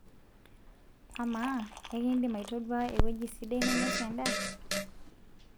amaa ekindim aitodua eweji sidai nainosie endaa?